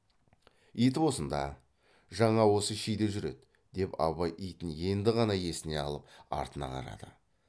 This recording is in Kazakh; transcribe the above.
ит осында жаңа осы шиде жүр еді деп абай итін енді ғана есіне алып артына қарады